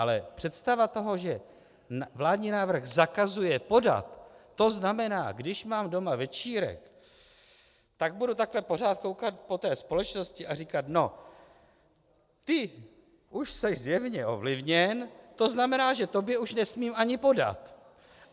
Ale představa toho, že vládní návrh zakazuje podat, to znamená, když mám doma večírek, tak budu takhle pořád koukat po té společnosti a říkat: No, ty už jsi zjevně ovlivněn, to znamená, že tobě už nesmím ani podat!